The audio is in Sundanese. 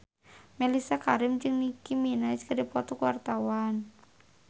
Mellisa Karim jeung Nicky Minaj keur dipoto ku wartawan